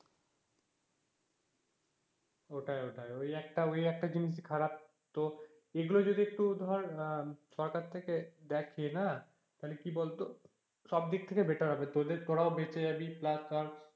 ওটাই ওটাই ওই একটা ওই একটা জিনিসই খারাপ, তো এগুলো যদি একটু ধর সরকার থেকে দেখে না তাহলে কি বলতো সব দিক থেকে better হবে তোদের তোরাও বেঁচে যাবি plus ধর,